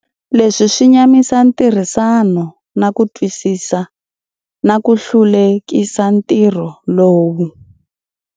Leswi swi nyamisa ntirhisano na ku twisisa, na ku hlulekisa ntirho lowu.